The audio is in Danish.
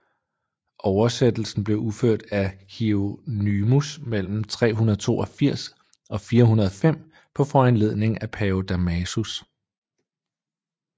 Oversættelsen blev udført af Hieronymus mellem 382 og 405 på foranledning af pave Damasus